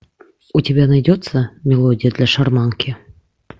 у тебя найдется мелодия для шарманки